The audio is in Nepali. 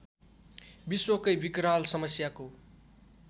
विश्वकै विकराल समस्याको